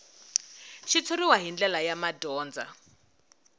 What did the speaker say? xitshuriwa hi ndlela ya madyondza